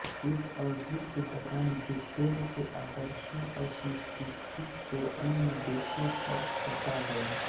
इस अवधि के दौरान ब्रिटेन के आदर्शों और संस्कृति को अन्य देशों पर थोपा गया